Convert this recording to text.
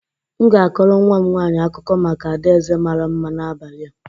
M ga-akọrọ nnwa m nwaanyị akụkọ maka adaeze mara mma n'abalị a